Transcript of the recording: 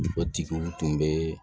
O tigiw tun bɛ